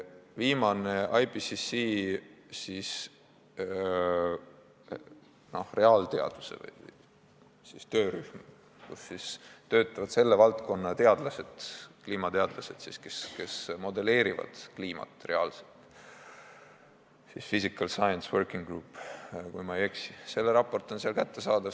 IPCC reaalteaduse töörühmas töötavad selle valdkonna teadlased, kliimateadlased, kes modelleerivad kliimat reaalselt – see on Physical Science Working Group, kui ma eksi –, selle raport on seal kättesaadav.